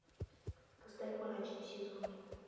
поставь мрачный сезон